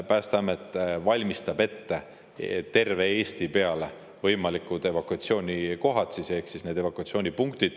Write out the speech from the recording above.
Päästeamet valmistab ette terve Eesti peale võimalikud evakuatsioonikohad ehk siis need evakuatsioonipunktid.